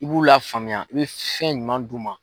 I b'u lafaamuya i bɛ fɛn ɲuman d'u ma.